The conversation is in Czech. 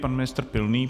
Pan ministr Pilný.